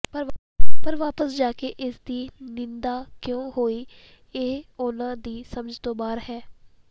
ਪਰ ਵਾਪਸ ਜਾਕੇ ਇਸਦੀ ਨਿੰਦਾ ਕਿਉਂ ਹੋਈ ਇਹ ਉਹਨਾਂ ਦੀ ਸਮਝ ਤੋਂ ਬਾਹਰ ਹੈ